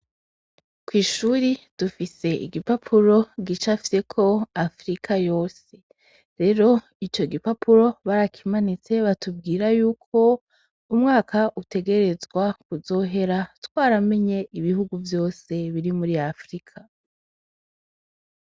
Kw'ishuri dufise igipapuro gicafyeko Afrika yose. Rero ico gipapuro barakimanitse batubwira y'uko umwaka utegerezwa kuzohera twaramenye ibihugu vyose biri muri Afrika.